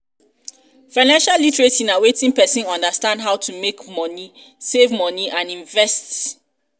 financial literacy na when person understand how to make money save money and invest invest